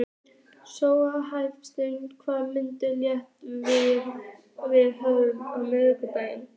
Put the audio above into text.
Sónata, manstu hvað verslunin hét sem við fórum í á miðvikudaginn?